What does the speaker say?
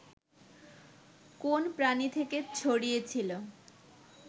কোন প্রাণী থেকে ছড়িয়েছিল